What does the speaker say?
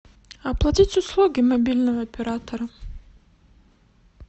оплатить услуги мобильного оператора